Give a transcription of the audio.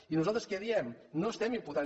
i nosaltres què diem no estem imputant